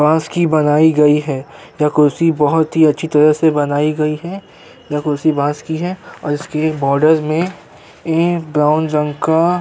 बास की बनाई गई है। ये कुर्सी बोहोत अच्छी तरह से बनाई गयी है। यह कुर्सी बॉस की है और इसके बॉर्डर में ब्राउन रंग का --